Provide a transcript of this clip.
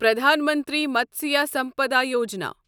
Pradhan Mantri Matsya Sampada Yojana